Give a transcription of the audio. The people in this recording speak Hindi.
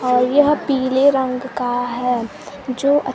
और यह पीले रंग का है जो अ--